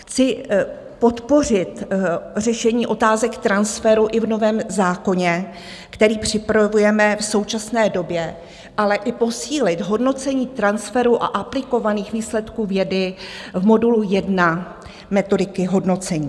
Chci podpořit řešení otázek transferu i v novém zákoně, který připravujeme v současné době, ale i posílit hodnocení transferu a aplikovaných výsledků vědy v modulu 1 metodiky hodnocení.